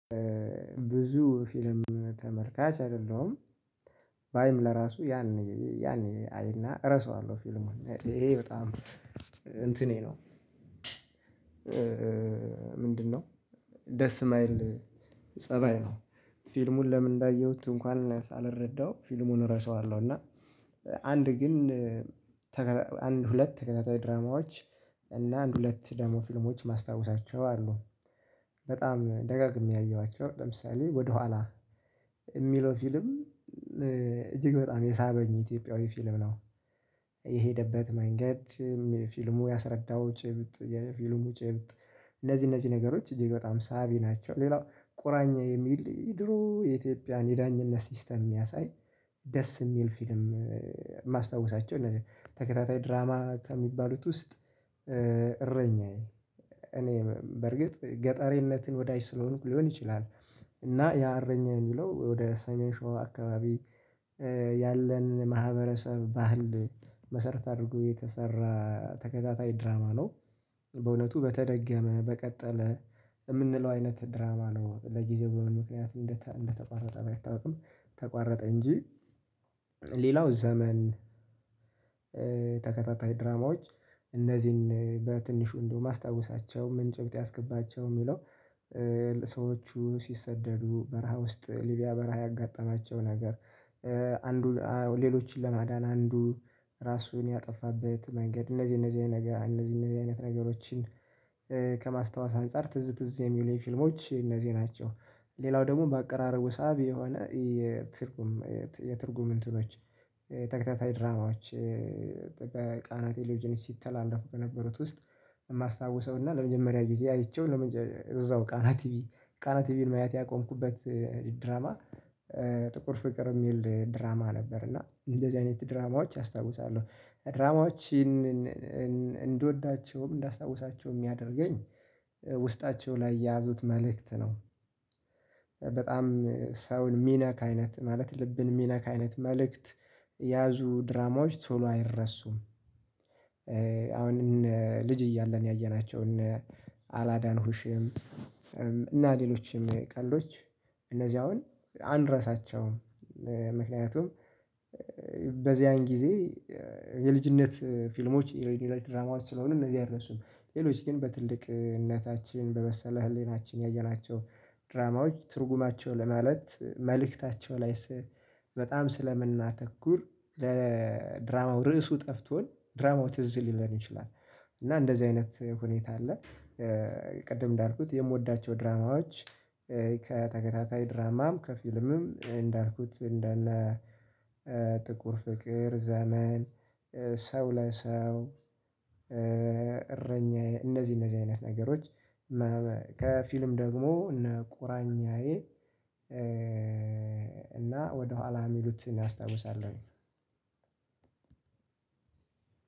ብዙ ፊልም ተመልካች አይደለሁም ባይም ለራሱ ያኔ ያኔ አይና እረሳዋለሁ ፊልሙን ይሄ በጣም እንትኔ ነው። ምንድነው? ደስ የማይል ፀባይ ነው። ፊልሙን ለምን እንዳየሁት እንኳን ሳልረዳው ፊልሙን እረሳዋለሁ እና። አንድ ግን ተከታ አንድ ሁለት ተከታታይ ድራማዎች እና አንድ ሁለት ደግሞ ፊልሞች ማስታወሳቸው አሉ። በጣም ደጋግሜ ያየኋቸው ለምሳሌ ወደኋላ የሚለው ፊልም። እጅግ በጣም የሳበኝ ኢትዮጵያዊ ፊልም ነው። የሄደበት መንገድ ፊልሙ ያስረዳው ጭብጥ የፊልሙ ጭብጥ እነዚህ እነዚህ ነገሮች እጅግ በጣም ሳቢ ናቸው። ሌላው ቁራኛ የሚል ድሮ የኢትዮጵያን የዳኝነት ሲስተም የሚያሳይ ደስ የሚል ፊልም። ማስታወሳቸው እነዚህ ተከታታይ ድራማ ከሚባሉት ውስጥ። እረኛዬ እኔ በርግጥ ገጠሬነትን ወዳጅ ስለሆንኩ ሊሆን ይችላል። እና ያ አረኛዬን የሚለው ወደ ሰሜን ሾህ አካባቢ ያለን ማህበረሰብ ባህል መሰረት አድርጎ የተሰራ ተከታታይ ድራማ ነው። በእውነቱ በተደገመ በቀጠለ የምንለው አይነት ድራማ ነው ለጊዜው ምክንያቱም እንደተቋረጠ ባይታወቅም ተቋረጠ እንጂ። ሌላው ዘመን። ተከታታይ ድራማዎች እነዚህን በትንሹ እንደው ማስታወሳቸው ምን ጭብጥ ያስገባቸው የሚለው? ሰዎቹ ሲሰደዱ በረሃ ውስጥ ሊቢያ በረሃ ያጋጠማቸው ነገር። አንዱ ሌሎችን ለማዳን አንዱ ራሱን ያጠፋበት መንገድ እነዚህ እነዚህ አይነት እነዚህ አይነት ነገሮችን። ከማስታወስ አንፃር ትዝ ትዝ የሚሉኝ ፊልሞች እነዚህ ናቸው። ሌላው ደግሞ በአቀራረቡ ሳቢ የሆነ የትርጉም የትርጉም እንትኖች ተከታታይ ድራማዎች። በቃና ቴሌጆች ሲተላለፉ ከነበሩት ውስጥ የማስታውሰው እና ለመጀመሪያ ጊዜ አይቼው እዛው ቃና ቲቪ ቃና ቲቪን ማየት ያቆምኩበት ድራማ። ጥቁር ፍቅር የሚል ድራማ ነበር። እና እንደዚህ አይነት ድራማዎች አስታውሳለሁ። ድራማዎችን እንድወዳቸውም እንዳስታውሳቸውም የሚያደርገኝ ውስጣቸው ላይ የያዙት መልእክት ነው። በጣም ሰውን ሚነካ ከአይነት ማለት ልብን ሚነካ አይነት መልእክት ያዙ ድራማዎች ቶሎ አይረሱም። አሁን ልጅ እያለን ያየናቸውን እነ አላዳንሁሽም። እና ሌሎችም ቀልዶች እነዚህ አሁን አንረሳቸውም። ምክንያቱም በዚያን ጊዜ የልጅነት ፊልሞች የሬዲዮ ላይ ድራማዋን ስለሆኑ እነዚህ አይረሱም። ሌሎች ግን በትልቅነታችን በመሰለ ህሊናችን ያየናቸው ድራማዎች ትርጉማቸው ለማለት መልእክታቸው ላይ ስህ በጣም ስለምናተኩር። ለድራማው ርዕሱ ጠፍቶን ድራማው ትዝ ሊለን ይችላል እና እንደዚህ አይነት ሁኔታ አለ። ቅድም እንዳልኩት የምወዳቸው ድራማዎች። ከተከታታይ ድራማም ከፊልምም እንዳልኩት እንደነ ጥቁር ፍቅር ዘመን ሰው ለሰው። እረኛ እነዚህ እነዚህ አይነት ነገሮች። ከፊልም ደግሞ እነ ቁራኛዬ። እና ወደኋላ የሚሉትን አስታውሳለሁኝ።